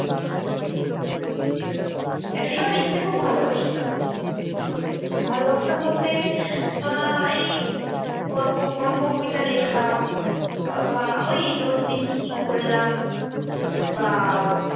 একটা সময় লিখতে খুব ভালবাসতাম, ভালবাসতাম বলতে আহ এই গল্প গল্প কবিতা লেখা অ্যাঁ বা ওই রোজদিন কি কি করলাম বা